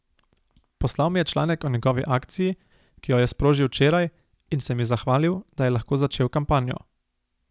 Poslal mi je članek o njegovi akciji, ki jo je sprožil včeraj, in se mi zahvalil, da je lahko začel kampanjo.